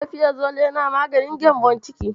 Rabefirazole yana maganin gembon ciki.